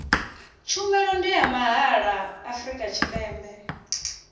tshumelo ndi ya mahala afrika tshipembe